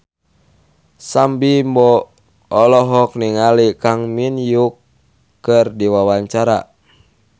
Sam Bimbo olohok ningali Kang Min Hyuk keur diwawancara